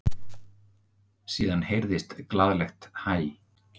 Síðan heyrðist glaðlegt hæ.